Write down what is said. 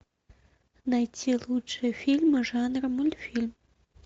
найти лучшие фильмы жанра мультфильм